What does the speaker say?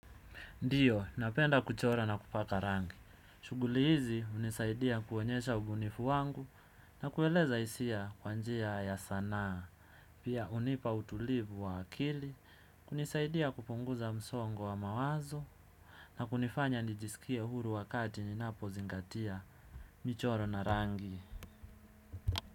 Ndiyo, napenda kuchora na kupaka rangi. Shughuli hizi hunisaidia kuonyesha ubunifu wangu na kueleza hisia kwa njia ya sanaa pia hunipa utulivu wa akili, kunisaidia kupunguza msongo wa mawazo na kunifanya nijisikie huru wakati ninapozingatia michoro na rangi.